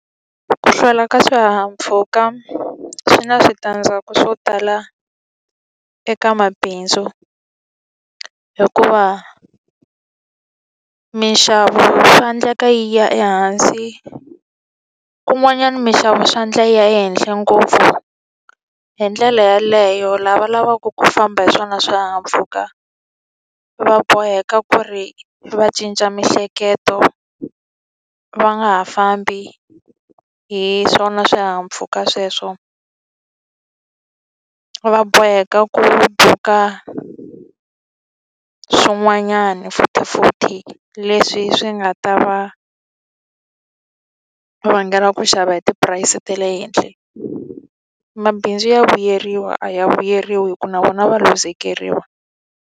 Ku hlwela ka swihahampfhuka swi na switandzhaku swo tala eka mabindzu, hikuva minxavo swa endleka yi ya ehansi kun'wanyana minxavo swa endla yi ya ehenhla ngopfu. Hi ndlela yeleyo lava lavaku ku famba hi swona swihahampfhuka, va boheka ku ri va cinca miehleketo va nga ha fambi hi swona swihahampfuka sweswo. Va boheka ku va buka swin'wanyani futhifuthi leswi swi nga ta va vangela ku xava hi ti-price ta le henhla. Mabindzu ya vuyeriwa? A ya vuyeriwi hikuva na vona va luzekeriwa.